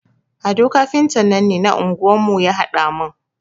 Ado kafintan nan ne na anguwar mu ya haɗa mun.